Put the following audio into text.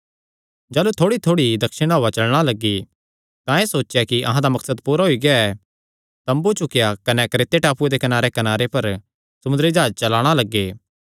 जाह़लू थोड़ीथोड़ी दक्षिणी हौआ चलणा लग्गी तां एह़ सोचेया कि अहां दा मकसद पूरा होई गेआ तम्बू चुकेया कने क्रेते टापूये दे कनारेकनारे पर समुंदरी जाह्जे चलाणा लग्गे